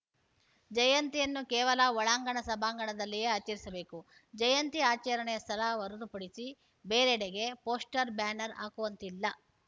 ಜಯಂತಿಯನ್ನು ಕೇವಲ ಒಳಾಂಗಣ ಸಭಾಂಗಣದಲ್ಲಿಯೇ ಆಚರಿಸಬೇಕು ಜಯಂತಿ ಆಚರಣೆಯ ಸ್ಥಳ ಹೊರತುಪಡಿಸಿ ಬೇರೆಡೆಗೆ ಪೋಸ್ಟರ್‌ ಬ್ಯಾನರ್‌ ಹಾಕುವಂತಿಲ್ಲ